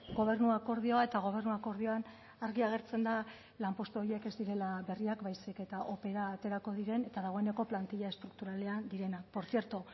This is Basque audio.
gobernu akordioa eta gobernu akordioan argi agertzen da lanpostu horiek ez direla berriak baizik eta opera aterako diren eta dagoeneko plantilla estrukturalean direnak por cierto